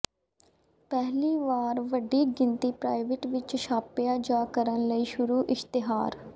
ਪਹਿਲੀ ਵਾਰ ਵੱਡੀ ਗਿਣਤੀ ਪ੍ਰਾਈਵੇਟ ਵਿਚ ਛਾਪਿਆ ਜਾ ਕਰਨ ਲਈ ਸ਼ੁਰੂ ਇਸ਼ਤਿਹਾਰ